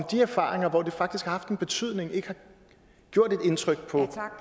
de erfaringer hvor det faktisk haft en betydning ikke gjort et indtryk på